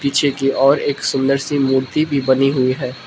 और एक सुंदर सी मूर्ति भी बनी हुई है।